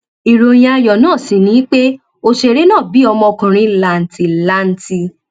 ìròyìn ayọ náà sì ni pé òṣèré náà bí ọmọkùnrin làǹtìlanti